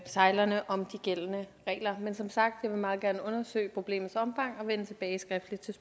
sejlerne om de gældende regler men som sagt vil jeg meget gerne undersøge problemets omfang og vende tilbage skriftligt